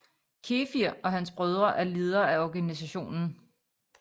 Kefir og hans brødre er ledere af organisationen